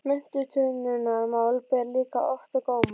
Menntunarmál ber líka oft á góma.